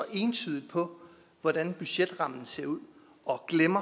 entydigt på hvordan budgetrammen ser ud og